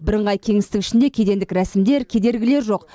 бірыңғай кеңістік ішінде кедендік рәсімдер кедергілер жоқ